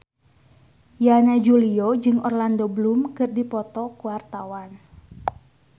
Yana Julio jeung Orlando Bloom keur dipoto ku wartawan